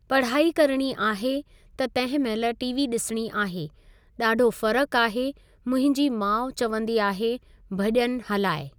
पढ़ाई करणी आहे त तंहिं महिल टीवी ॾिसणी आहे, ॾाढो फ़र्क़ु आहे मुंहिंजी माउ चवंदी आहे भॼन हलाए।